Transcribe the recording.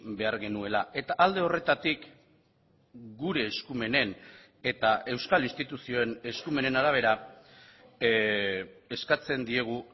behar genuela eta alde horretatik gure eskumenen eta euskal instituzioen eskumenen arabera eskatzen diegu